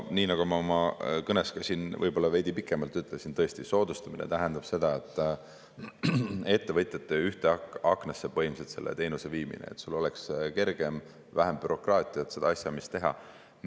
Nii nagu ma oma kõnes ka siin veidi pikemalt, tõesti, soodustamine tähendab seda, et ettevõtjatele viiakse see teenus põhimõtteliselt ühte aknasse, et neil oleks kergem seda asjaajamist teha ja vähem bürokraatiat.